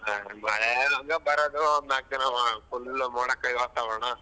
ಮಳೆ ಹಂಗ ಬರೋದು ಒಂದ್ ನಾಕ್ ದಿನ full ಮೋಡ ಕವಿದ ವಾತಾವರಣ ನೋಡು.